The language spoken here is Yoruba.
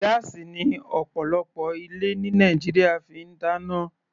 Gáásì ni ọ̀pọ̀lọpọ̀ ilé ní Nàìjíríà fi ń dáná.